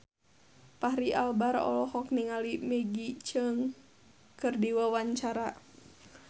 Fachri Albar olohok ningali Maggie Cheung keur diwawancara